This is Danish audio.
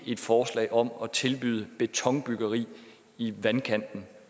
et forslag om at tilbyde betonbyggeri i vandkanten